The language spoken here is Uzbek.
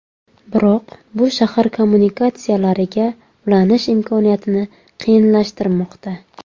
Biroq bu shahar kommunikatsiyalariga ulanish imkoniyatini qiyinlashtirmoqda.